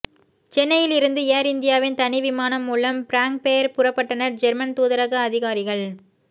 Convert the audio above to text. சென்னையில் இருந்து ஏர் இந்தியாவின் தனி விமானம் மூலம் பிராங்க்பேர் புறப்பட்டனர் ஜெர்மன் தூதரக அதிகாரிகள்